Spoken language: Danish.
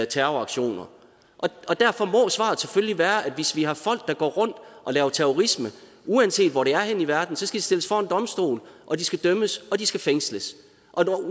terroraktioner derfor må svaret selvfølgelig være at hvis vi har folk der går rundt og laver terrorisme uanset hvor det er henne i verden så skal de stilles for en domstol og de skal dømmes og de skal fængsles og